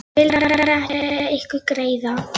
Ég vildi bara gera ykkur greiða.